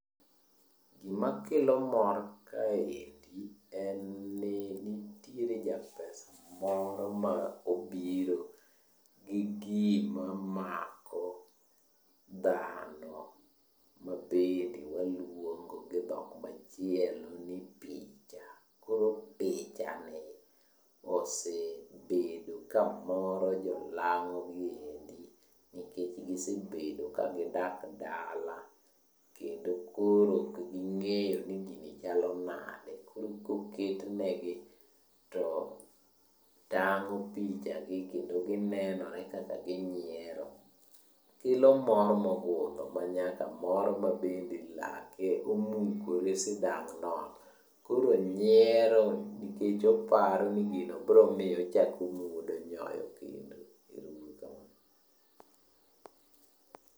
Gimakelo mor kaendi, en ni nitiere japesa moro ma obiro gi gima mako dhano, mabende waluongo gi dhok machielo ni picha. Koro pichani osebedo kamoro jolang'o gi endi nikech gisebedo kagidak dala kendo koro ok ging'eyo ni gini chalo nade. Koro koketnegi to tang'o pichagi kendo ginenore kaka ginyiero. Kelo mor mogundho manyaka moro mabende lake omukore sidang'no, koro nyiero nikech oparo ni gino bro miye ochako omuodo nyoyo kendo, ero uru kamano.